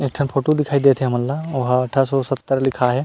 एक ठक फोटो दिखई देत हे हमन ला ओहा अठरा सौ सत्तर लिखा हे।